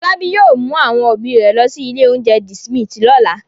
Fọlábí yóò mú àwọn òbí rẹ̀ lọ sí ilé-oúnjẹ The Smith lọ́la.